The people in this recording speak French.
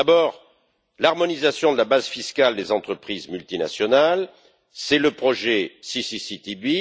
D'abord, l'harmonisation de la base fiscale des entreprises multinationales, c'est le projet CCCTB.